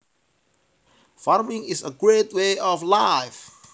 Farming is a great way of life